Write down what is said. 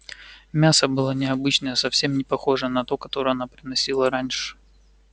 мясо было необычное совсем не похожее на то которое она приносила раньше